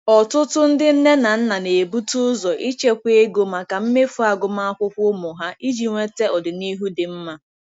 Ọtụtụ ndị nne na nna na-ebute ụzọ ịchekwa ego maka mmefu agụmakwụkwọ ụmụ ha iji nweta ọdịnihu dị mma.